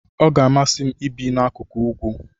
Ọ ga-amasị m ibi n'akụkụ ugwu.